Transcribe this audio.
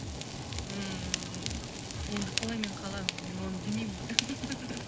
ммм енді қалай мен қаламын мен оны білмеймін ғой